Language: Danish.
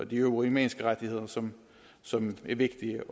de øvrige menneskerettigheder som som er vigtige